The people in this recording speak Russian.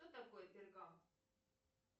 кто такой пергант